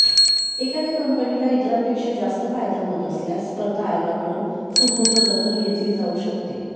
एखाद्या कंपनीला इतरांपेक्षा जास्त फायदा होत असल्यास स्पर्धा आयोगाकडून सुमोटो दखल घेतली जाऊ शकते